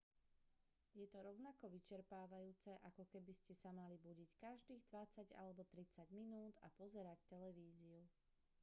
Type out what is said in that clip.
je to rovnako vyčerpávajúce ako keby ste sa mali budiť každých dvadsať alebo tridsať minút a pozerať televíziu